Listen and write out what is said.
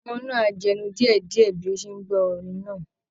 Ọmọ náà ń jẹnu díẹ̀ díẹ̀ bí ó ṣe ń gbọ́ orin náà